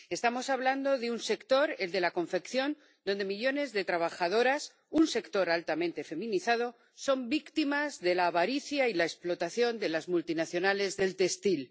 Estamos hablando de un sector, el de la confección, donde millones de trabajadoras —un sector altamente feminizado— son víctimas de la avaricia y de la explotación de las multinacionales del textil.